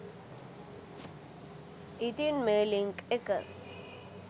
ඉතින් මේ ලින්ක් එක